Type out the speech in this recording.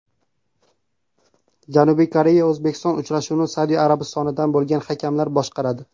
Janubiy Koreya O‘zbekiston uchrashuvini Saudiya Arabistonidan bo‘lgan hakamlar boshqaradi.